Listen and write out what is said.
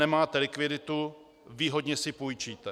Nemáte likviditu - výhodně si půjčíte.